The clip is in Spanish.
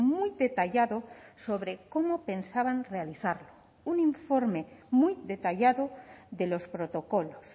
muy detallado sobre cómo pensaban realizar un informe muy detallado de los protocolos